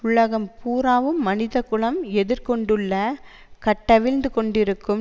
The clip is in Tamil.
உலகம் பூராவும் மனித குலம் எதிர் கொண்டுள்ள கட்டவிழ்ந்து கொண்டிருக்கும்